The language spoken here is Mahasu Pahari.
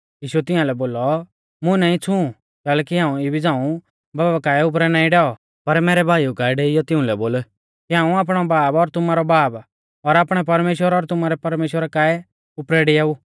यीशुऐ तियांलै बोलौ मुं नाईं छ़ूं कैलैकि हाऊं इबी झ़ांऊ बाबा काऐ उपरै नाईं डैऔ पर मैरै भाइऊ काऐ डेइऔ तिउंलै बोल कि हाऊं आपणौ बाब और तुमारौ बाब और आपणै परमेश्‍वर और तुमारै परमेश्‍वरा काऐ उपरै डिआऊ